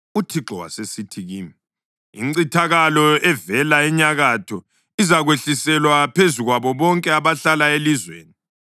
UThixo wasesithi kimi, “Incithakalo evela enyakatho izakwehliselwa phezu kwabo bonke abahlala elizweni.